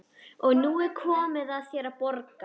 Og nú er komið að þér að borga.